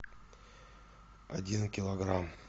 один килограмм